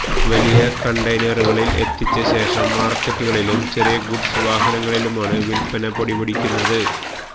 വലിയ കണ്ടയ്നറുകളില് എത്തിച്ച ശേഷം മാര്ക്കറ്റുകളിലും ചെറിയ ഗുഡ്സ് വാഹനങ്ങളിലുമാണ് വില്പ്പന പൊടിപൊടിക്കുന്നത്